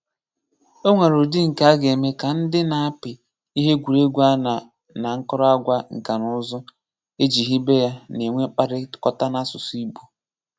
Ọ̀ nwere ùdị̀ nke a ga-eme ka ndị na-apị ihe egwuregwu a na àkòròngwa nka na ùzù́ e ji hibe ya na-enwe mkpáríkọ̀tà n’asụ̀sụ́ Ìgbò.